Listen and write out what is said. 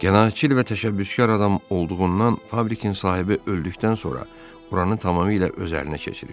Cəsarətli və təşəbbüskar adam olduğundan fabrikin sahibi öldükdən sonra buranı tamamilə öz əlinə keçirir.